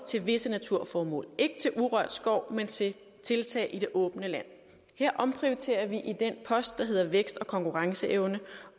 til visse naturformål ikke til urørt skov men til tiltag i det åbne land her omprioriterer vi i den post der hedder vækst og konkurrenceevne